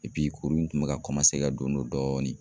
kuru in tun bi ka ka don don dɔɔnin